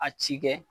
A ci kɛ